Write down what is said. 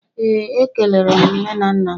Ee, ekelere m nne na nna m